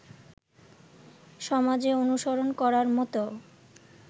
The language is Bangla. সমাজে অনুসরণ করার মত